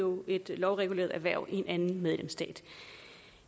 at udøve et lovreguleret erhverv i en medlemsstat